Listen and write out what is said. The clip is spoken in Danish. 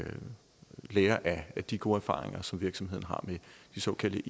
lære af de gode erfaringer som virksomheden har med de såkaldte